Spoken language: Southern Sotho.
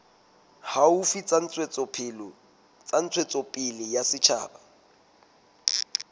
haufi tsa ntshetsopele ya setjhaba